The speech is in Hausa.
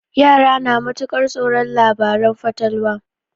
Yara na matuƙar tsoron labaren fatalwa.